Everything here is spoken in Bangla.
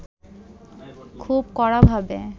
খুব কড়াভাবে